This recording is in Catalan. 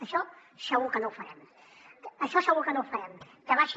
això segur que no ho farem això segur que no ho farem que va ser